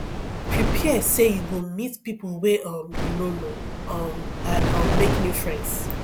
prepare say you go meet pipo wey um you no know um amd um make new friends